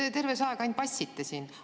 Te terve see aeg ainult vassite siin.